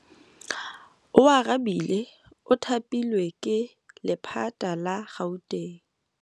Oarabile o thapilwe ke lephata la Gauteng.